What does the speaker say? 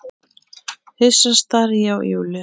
Hissa stari ég á Júlíu.